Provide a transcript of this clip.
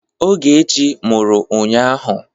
Ogechi mụrụ ụnyahụ.